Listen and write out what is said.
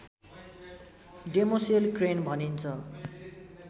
demoiselle crane भनिन्छ